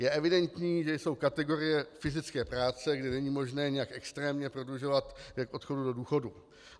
Je evidentní, že jsou kategorie fyzické práce, kde není možné nějak extrémně prodlužovat věk odchodu do důchodu.